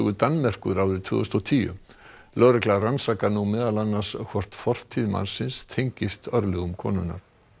Danmerkur árið tvö þúsund og tíu lögregla rannsakar nú meðal annars hvort fortíð mannsins tengist örlögum konunnar